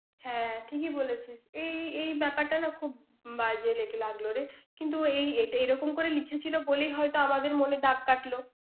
হ্যাঁ। ঠিকই বলেছিস। এই এই ব্যাপারটা খুব বাজে লেগ~ লাগল রে। কিন্তু এই এট~ রকম করে লিখেছিল বলেই হয়তো আমাদের মনে দাগ কাটল।